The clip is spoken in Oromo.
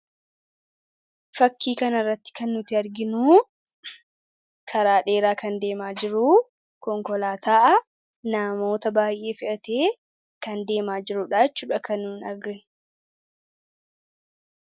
Fakkii kana irratti kan nuti arginu, karaa dheeraa deemaa kan jiru, konkolaataa namoota baayyee fe'atee kan deemaa jirudha jechuudha kan nuti arginu .